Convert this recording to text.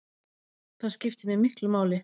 Það skipti mig miklu máli